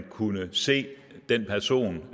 kunne se den person